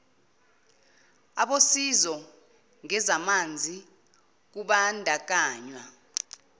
abosizo ngezamanzi kubandakanywa